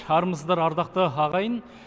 армысыздар ардақты ағайын